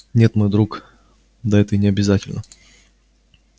нет мой друг да это и не обязательно